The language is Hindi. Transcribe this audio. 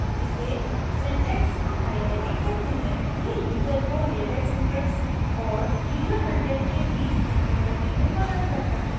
इसे syntax highlighting कहते हैं यह यूज़र को latex syntax और यूज़र कंटेंट के बीच अंतर करने में मदद करता है